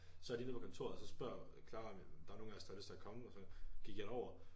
Så de nede på kontoret og så spørger Clara om der er nogen af os der har lyst til at komme og så gik jeg derover